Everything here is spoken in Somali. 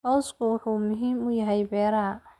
Cawsku wuxuu muhiim u yahay beeraha.